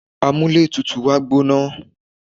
amúlé tutù wa gbóná